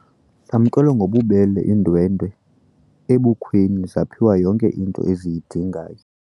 Zamkelwe ngobubele iindwendwe ebukhweni zaphiwa yonke into eziyidingayo.